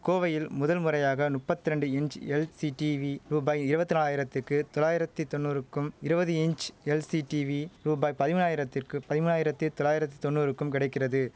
கோவையில் முதல் முறையாக முப்பத்தி ரெண்டு இன்ச் எல்சி டீவி ரூபாய் இருவத்தி நாலாயிரத்துக்கு தொள்ளாயிரத்தி தொன்னூறுக்கும் இருவது இன்ச் எல்சி டீவி ரூபாய் பதிமூனாயிரத்திற்க்கு பதிமூனாயிரத்தி தொள்ளாயிரத்தி தொன்னூறுக்கும் கிடைக்கிறது